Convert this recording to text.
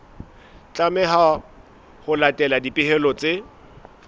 tlameha ho latela dipehelo tse